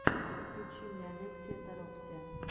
включи мне олексия тороктия